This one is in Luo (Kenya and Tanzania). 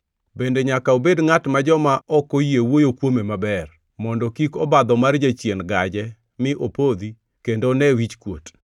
Bende nyaka obed ngʼat ma joma ok oyie wuoyo kuome maber, mondo kik obadho mar jachien gaje mi opodhi kendo one wichkuot.